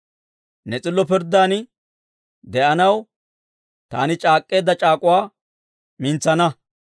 Ne s'illo pirddaadan de'anaw, taani c'aak'k'eedda c'aak'uwaa mintsana.